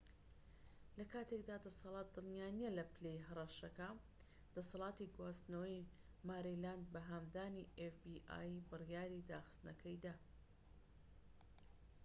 لە کاتێکدا دەسەڵات دڵنیا نیە لە پلەی هەڕەشەکە دەسەڵاتی گواستنەوەی ماریلاند بە هاندانی ئێف بی ئای بڕیاری داخستنەکەی دا